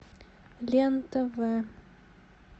лен тв